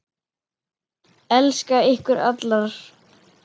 Elska ykkur allar.